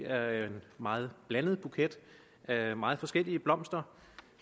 er en meget blandet buket af meget forskellige blomster